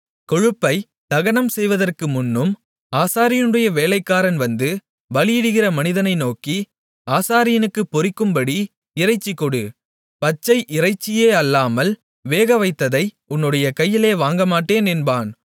கொழுப்பைத் தகனம் செய்வதற்கு முன்னும் ஆசாரியனுடைய வேலைக்காரன் வந்து பலியிடுகிற மனிதனை நோக்கி ஆசாரியனுக்குப் பொரிக்கும்படி இறைச்சிகொடு பச்சை இறைச்சியே அல்லாமல் வேக வைத்ததை உன்னுடைய கையிலே வாங்கமாட்டேன் என்பான்